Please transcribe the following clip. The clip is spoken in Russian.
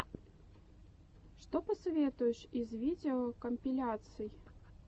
что посоветуешь из видеокомпиляций